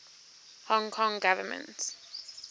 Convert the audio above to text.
hong kong government